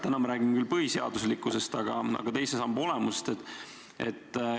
Täna me räägime põhiseaduslikkusest, aga ka teise samba olemusest.